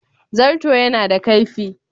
Zarto yana da kaifi.